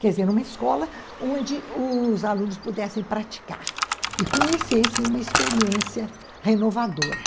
Quer dizer, uma escola onde os alunos pudessem praticar e conhecessem uma experiência renovadora.